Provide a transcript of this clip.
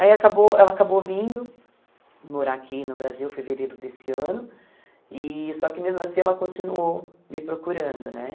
Aí acabou ela acabou vindo morar aqui no Brasil, em fevereiro desse ano, e só que mesmo assim ela continuou me procurando, né?